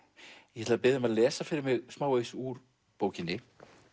ég ætla að biðja þig um að lesa fyrir mig smávegis úr bókinni